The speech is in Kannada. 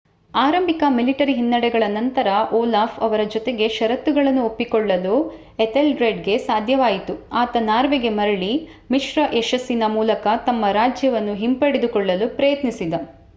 ಆರಂಭಿಕ ಮಿಲಿಟರಿ ಹಿನ್ನಡೆಗಳ ನಂತರ ಓಲಾಫ್ ಅವರ ಜೊತೆಗೆ ಷರತ್ತುಗಳನ್ನು ಒಪ್ಪಿಕೊಳ್ಳಲು ಎಥೆಲ್ರೆಡ್‌ಗೆ ಸಾಧ್ಯವಾಯಿತು ಆತ ನಾರ್ವೆಗೆ ಮರಳಿ ಮಿಶ್ರ ಯಶಸ್ಸಿನ ಮೂಲಕ ತಮ್ಮ ರಾಜ್ಯವನ್ನು ಹಿಂಪಡೆದುಕೊಳ್ಳಲು ಪ್ರಯತ್ನಿಸಿದ